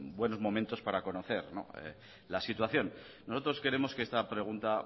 buenos momentos para conocer la situación nosotros queremos que esta pregunta